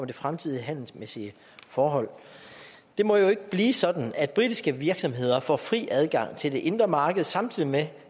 det fremtidige handelsmæssige forhold det må jo ikke blive sådan at britiske virksomheder får fri adgang til det indre marked samtidig med